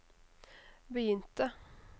begynte